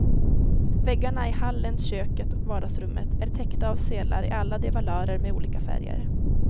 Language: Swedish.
Väggarna i hallen, köket och vardagsrummet är täckta av sedlar i alla de valörer med olika färger.